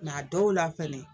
Nka dɔw la fɛnɛ